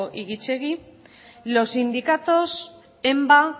y gitxegi los sindicatos enba